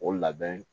O labɛn